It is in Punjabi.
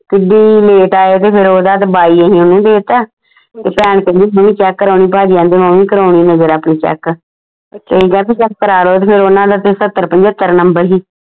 ਕਿੱਡੀ late ਤੇ ਓਹਦਾ ਤੇ ਬਾਈ ਅਸੀਂ ਓਹਨੂੰ ਦੇ ਤਾ ਤੇ ਭਾਈ ਕਹਿੰਦੀ ਤੂੰ ਵੀ check ਕਰਾਉਣੀ ਭਾਜੀ ਆਂਦੇ ਵੀ ਕਰਾਉਣੀ ਨਜਰ ਆਪਣੀ check check ਕਰਾ ਲੋ ਤੇ ਫੇਰ ਉਹਨਾਂ ਦਾ ਤੇ ਸੱਤਰ ਪਜੰਤਰ ਨੰਬਰ ਸੀ